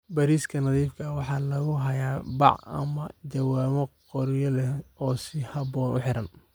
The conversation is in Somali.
Bariiska nadiifka ah waxaa lagu hayaa bac ama jawaanno qoryo leh oo si habboon u xiran.